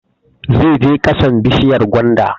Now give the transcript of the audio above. Zai je ƙasan bishiyar gwanda